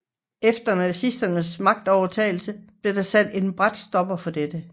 Efter nazisternes magtovertagelse blev der sat en brat stopper for dette